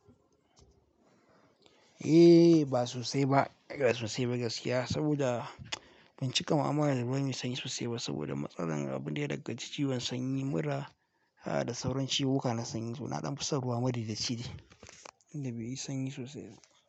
Eh ba sosai ba, ba sosai ba gaskiya saboda ban cika ma amana da ruwan sanyi sosai ba saboda matsalar abin da ya daggaci ciwon sanyi mura, haka da sauran ciwuka na sanyi, sunaɗin fusar ruwa madi da ciki, inda baiyi sanyi sosai ba.